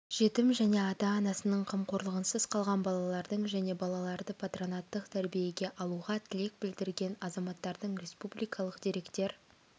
жетім және ата-анасының қамқорлығынсыз қалған балалардың және балаларды патронаттық тәрбиеге алуға тілек білдірген азаматтардың республикалық деректер